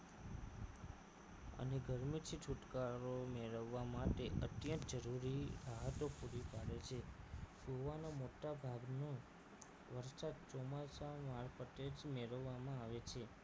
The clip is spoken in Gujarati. કે ગરમીથી છુટકારો મેળવવા માટે અત્યંત જરૂરી રાહતો પૂરી પાડે છે ગોવાનો મોટાભાગનો વરસાદ ચોમાસામાં પટેજ મેળવવામાં આવે છે